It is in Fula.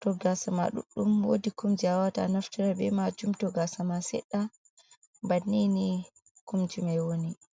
to gaasa ma ɗuɗdum woodi kum jey a waata a naftira bee maajum, to gaasa ma seɗɗa banninii kumjimai woni.